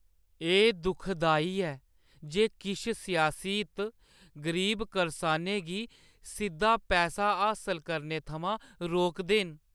एह् दुखदाई ऐ जे किश सियासी हित गरीब करसानै गी सिद्दा पैसा हासल करने थमां रोकदे न ।